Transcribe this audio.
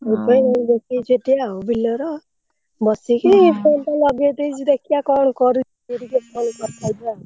ସେଇଥିପାଇଁ ଜଗିଛି ସେଠି ବିଲରେ ବସିକି phone ଟା ଲଗେଇଦେଇଛି ଦେଖିଆ କଣ କରୁଛି ଟିକେ କଥା ହେଇଯିବା ଆଉ।